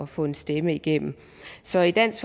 få en stemme igennem så i dansk